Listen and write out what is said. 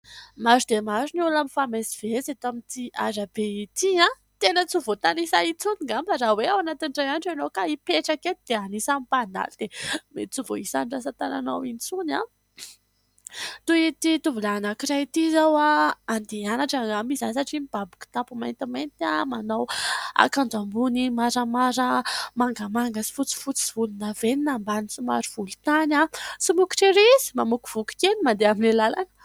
Maro dia maro ny olona famamezivezy eto amin'ity arabe ity a, tena tsy ho voatanisa intsony angamba raha hoe ao anatin'ny iray andro ianao ka hipetraka eto dia hanisa ny mpandalo dia mety tsy ho voahisa ny rantsan-tananao intsony a. Toy ity tovolahy anankiray ity izao a, andeha hianatra angamba izy satria mibaby kitapo maintimainty manao akanjo ambony maramara mangamanga sy fotsifotsy sy volondavenina ambany somary volo tany. Somokotra ery izy mamokovoko kely mandeha amin'ilay làlana.